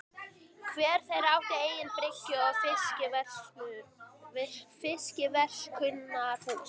Hver þeirra átti eigin bryggju og fiskverkunarhús.